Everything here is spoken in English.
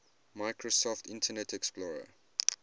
microsoft internet explorer